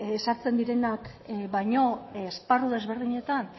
sartzen direnak baino esparru desberdinetan